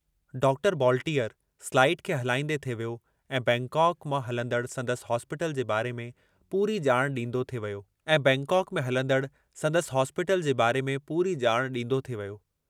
Doctor volunteer slide खे हलाईंदे थे वियो ऐं बैंकाक में हलंदड़ संदसि हॉस्पिटल जे बारे में पूरी जाण डींदो थे वियो ऐं बैंकाक में हलंदड़ संदसि हॉस्पिटल जे बारे में पूरी जाण डींदो थे वियो।